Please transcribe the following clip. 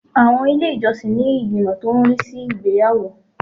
Àwọn ilé ìjọsìn ní ìgbìmọ̀ tó ń rí sí ìgbéyàwó